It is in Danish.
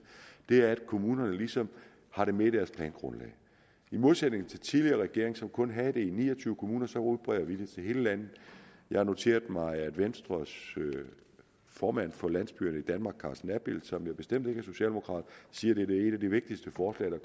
er at kommunerne ligesom har det med i deres plangrundlag i modsætning til den tidligere regering som kun havde det i ni og tyve kommuner udbreder vi det til hele landet jeg har noteret mig at venstres formand for landsbyerne i danmark carsten abild som jo bestemt ikke er socialdemokrat siger at det er et af de vigtigste forslag